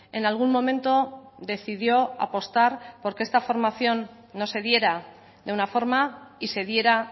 en algún momento decidió apostar porque esta formación no se diera de una forma y se diera